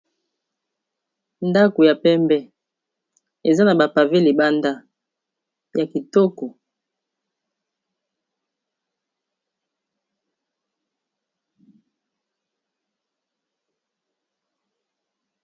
ndako ya pembe eza na bapave libanda ya kitoko